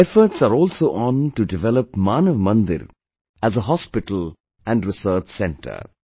Efforts are also on to develop Manav Mandir as a hospital and research centre